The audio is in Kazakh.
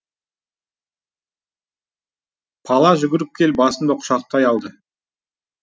пала жүгіріп келіп басымды құшақтай алды